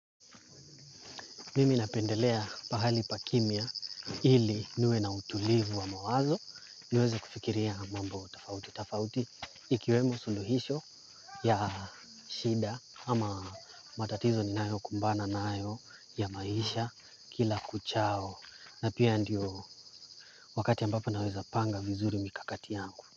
Mimi napendelea pahali pa kimya ili niwe na utulivu wa mawazo. Niweze kufikiria mambo tafauti. Tafauti ikiwemo suluhisho ya shida ama matatizo ninayo kumbana nayo ya maisha kila kuchao. Na pia ndio wakati ambapo naweza panga vizuri mikakati yangu.